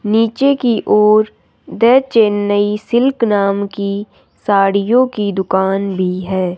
नीचे की ओर द चेन्नई सिल्क नाम की साड़ियों की दुकान भी है।